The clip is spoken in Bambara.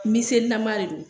miselilama de don